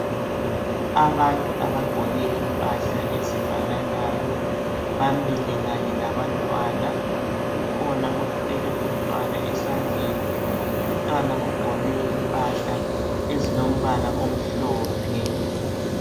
Abantu abagqoke impahla ezifananayo bamile Kanye labantwana kukhona othwele umntwana esandleni umntwana ugqoke impahla ezilombala omhlophe